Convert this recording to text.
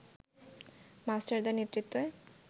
মাস্টারদার নেতৃত্বে